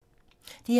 DR2